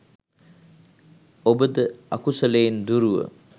ඔබද අකුසලයෙන් දුරුව